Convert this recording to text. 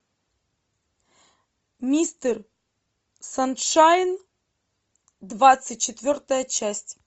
мистер саншайн двадцать четвертая часть